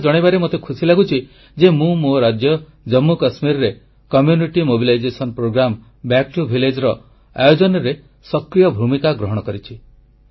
ଏକଥା ଜଣାଇବାରେ ମୋତେ ଖୁସି ଲାଗୁଛି ଯେ ମୁଁ ମୋ ରାଜ୍ୟ ଜାମ୍ମୁ କାଶ୍ମୀରରେ ଗାଁ କୁ ଫେରିଚାଲ ଏକ ପ୍ରେରଣାଦାୟୀ ଗୋଷ୍ଠୀ କାର୍ଯ୍ୟକ୍ରମ ଆୟୋଜନରେ ସକ୍ରିୟ ଭୂମିକା ଗ୍ରହଣ କରିଛି